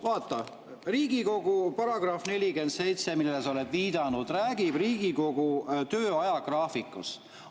Vaata, § 47, millele sa oled viidanud, räägib Riigikogu töö ajagraafikust.